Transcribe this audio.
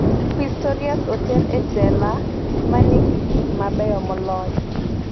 Pistorius oter e jela manigi gik mabeyo moloyo